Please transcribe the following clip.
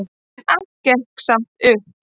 En allt gekk samt upp.